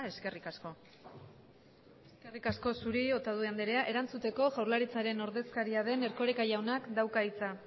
eskerrik asko eskerrik asko zuri otadui anderea erantzuteko jaurlaritzaren ordezkaria den erkoreka jaunak dauka hitza